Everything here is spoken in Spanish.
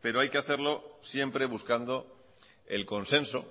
pero hay que hacerlo siempre buscando el consenso